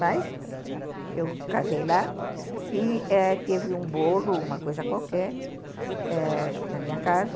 Mas, eu casei lá e ãh teve um bolo, uma coisa qualquer na minha casa.